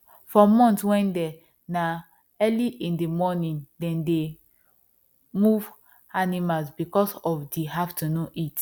for month wen dey na early in the morning them dey move animal because of the afternoon heat